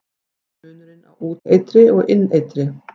Hver er munurinn á úteitri og inneitri?